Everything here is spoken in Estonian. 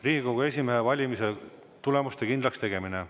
Riigikogu esimehe valimise tulemuste kindlakstegemine.